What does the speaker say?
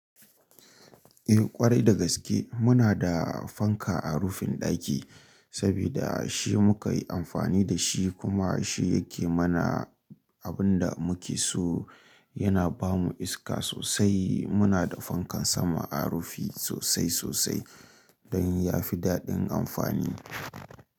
Eh ƙwarai da gaske muna da fanka a rufin ɗaki saboda shi muka yi amfani da shi kuma shi yake mana abin da muke so. Yana ba mu iska sosai. Muna da fankan sama a rufi sosai sosai don ya fi daɗin amfani.